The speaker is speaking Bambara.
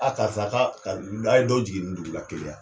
karisa ka a ye dɔ jigin nin dugula Keleya.